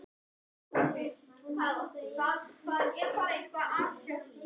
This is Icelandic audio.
Arisa, hvað er á dagatalinu mínu í dag?